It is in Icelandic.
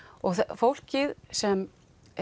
fólkið sem